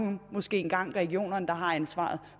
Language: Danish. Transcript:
måske engang er regionerne der har ansvaret